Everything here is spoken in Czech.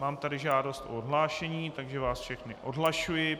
Mám tu žádost o odhlášení, takže vás všechny odhlašuji.